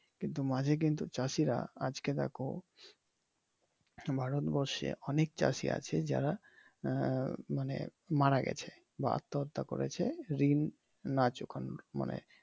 কিন্তু মাঝে কিন্তু চাষিরা আজকে দেখো , ভারত বর্ষে অনেক চাষি আছে যারা মানে আহ মারা গেছে বা আত্মহত্যা করেছে ঋণ না চুকানো মানে